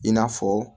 I n'a fɔ